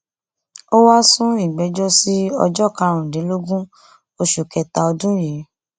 ó wáá sún ìgbẹjọ sí ọjọ karùndínlógún oṣù kẹta ọdún yìí